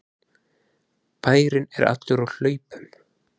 Bærinn er allur á hlaupum!